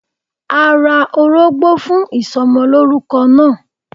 A ra orógbó fún ìsomolórúko náà